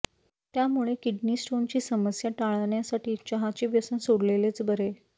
त्यामुळे किडनी स्टोनची समस्या टाळण्यासाठी चहाचे व्यसन सोडलेलेच बरे